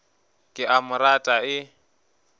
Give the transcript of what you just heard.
ke a mo rata e